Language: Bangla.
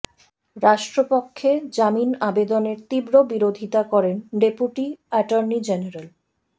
রাষ্ট্রপক্ষে জামিন আবেদনের তীব্র বিরোধীতা করেন ডেপুটি অ্যাটর্নি জেনারেল